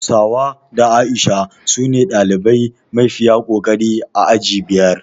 Hauwa da A'isha sune ɗalibai mafiya kokari a aji biyar